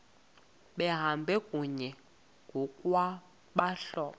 behamba kunye ngokwabahlobo